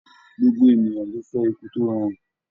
Gbogbo ènìyàn ló fẹ́ ikú tó rọrùn.